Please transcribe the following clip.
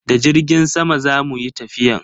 Da jirgin sama zamu yi tafiyan?